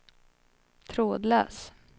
trådlös